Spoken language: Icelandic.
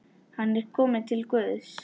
Hann er kominn til Guðs.